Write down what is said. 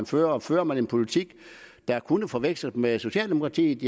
fører fører man en politik der kunne forveksles med socialdemokratiets